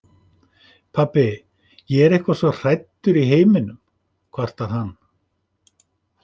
Pabbi, ég er eitthvað svo hræddur í heiminum, kvartar hann.